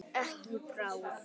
Ekki í bráð.